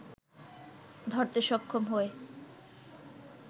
ধরতে সক্ষম হয়